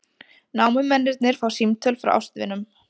Námumennirnir fá símtöl frá ástvinum